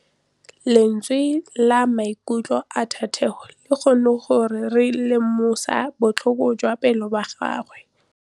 Lentswe la maikutlo a Thategô le kgonne gore re lemosa botlhoko jwa pelô ya gagwe.